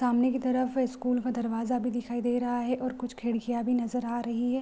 सामने की तरफ स्कूल का दरवाजा भी दिखाई दे रहा है और कुछ खिड़कियां भी नजर आ रही है।